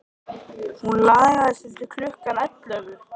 Hún lagði sig til klukkan ellefu.